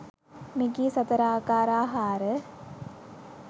මෙකී සතර ආකාර ආහාර